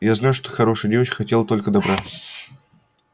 я знаю что ты хорошая девочка и хотела только добра